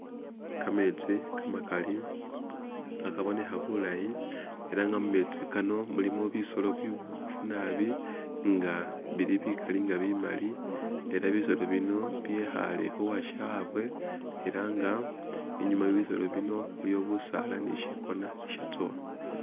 Kameetsi kamakali kha kabonekha bulaayi ela nga memetsi kano mulimo bisolo biboofu naabi nga bili bikaali nga bimali ela bisolo bino byekhaale khu washabwe ela nga inyuma we bisolo bino iliwo bisaala ni syikona isyatsowa.